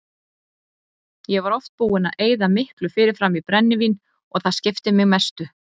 Ég var oft búinn að eyða miklu fyrirfram í brennivín og það skipti mig mestu.